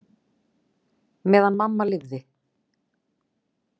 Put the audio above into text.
Meðan mamma lifði.